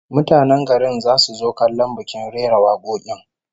Mutanen garin zasu zo kallon bikin rera wakokin